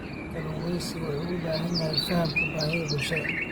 Kalluumeysigu wuxuu u baahan yahay fahamka baahiyaha bulshada.